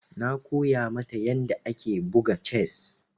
Na koya mata yadda ake buga chess.